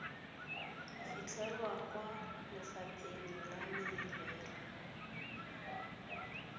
fitlhelwa kwa lefapheng la merero